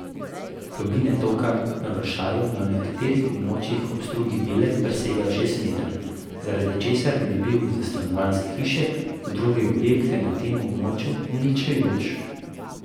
Globine toka na vršaju na nekaterih območjih ob strugi Bele presegajo šest metrov, zaradi česar bi bil za stanovanjske hiše in druge objekte na tem območju uničujoč.